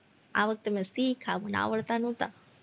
આ વખતે મેં શીખા મને આવડતા નોતા,